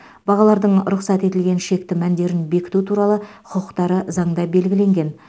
бағалардың рұқсат етілген шекті мәндерін бекіту туралы құқықтары заңда белгіленген